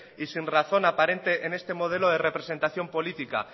y sin razón aparente en este modelo de representación política